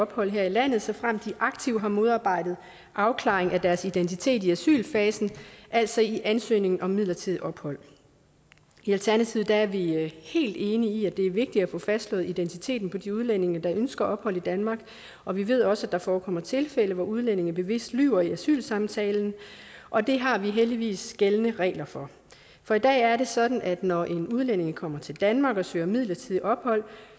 ophold her i landet såfremt de aktivt har modarbejdet afklaring af deres identitet i asylfasen altså i ansøgningen om midlertidigt ophold i alternativet er vi helt enige i at det er vigtigt at få fastslået identiteten på de udlændinge der ønsker ophold i danmark og vi ved også at der forekommer tilfælde hvor udlændinge bevidst lyver i asylsamtalen og det har vi heldigvis gældende regler for for i dag er det sådan at når en udlænding kommer til danmark og søger midlertidigt ophold